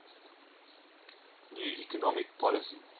new economic policy